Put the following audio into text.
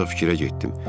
Ancaq fikrə getdim.